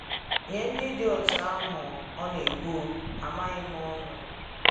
Nye ndị dị otú ahụ, ọ na-ekwu: A maghị m unu!